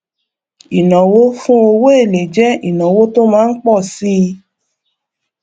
ìnáwó fún owó èlé jẹ ìnáwó tó má ń pọ síi